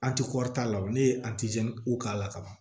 An ti ne ye k'a la kaban